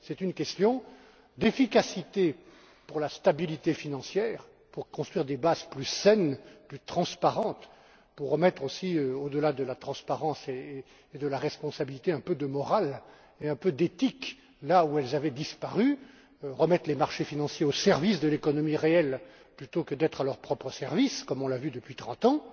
C'est une question d'efficacité pour la stabilité financière, pour construire des bases plus saines, plus transparentes, pour mettre aussi, au delà de la transparence et de la responsabilité, un peu de morale et un peu d'éthique là où elle avaient disparu, et remettre les marchés financiers au service de l'économie réelle plutôt que d'être à leur propre service, comme on l'a vu depuis trente ans.